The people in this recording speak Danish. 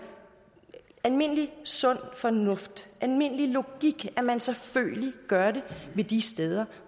almindelig sund fornuft almindelig logik at man selvfølgelig gør det de steder